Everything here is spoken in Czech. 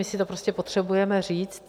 My si to prostě potřebujeme říct.